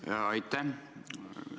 Jah, aitäh!